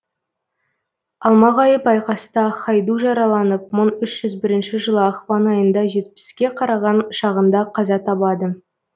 алмағайып айқаста хайду жараланып мың үш жүз бірінші жылы ақпан айында жетпіске қараған шағында қаза табады